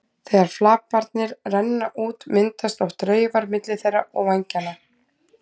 Þegar flaparnir renna út myndast oft raufar milli þeirra og vængjanna.